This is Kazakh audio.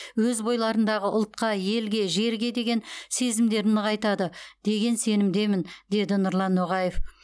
өз бойларындағы ұлтқа елге жерге деген сезімдерін нығайтады деген сенімдемін деді нұрлан ноғаев